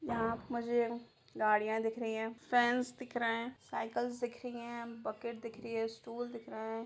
यहाँ पर मुझे गाड़ियाँ दिख रही हैं फेन्स दिख रहे हैं साइकल्स दिख रही हैं बकेट दिख रही है स्टूल दिख रहे है।